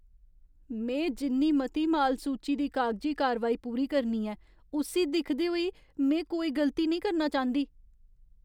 में जिन्नी मती माल सूची दी कागजी कारवाई पूरी करनी ऐ उस्सी दिखदे होई में कोई गलती नेईं करना चांह्दी।